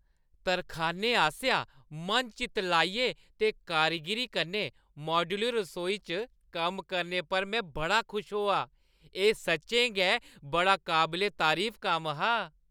तरखानै आसेआ मन-चित लाइयै ते कारीगिरी कन्नै माड्‌यूलर रसोई च कम्म करने पर में बड़ा खुश होआ। एह् सच्चें गै बड़ा काबले तरीफ कम्म हा।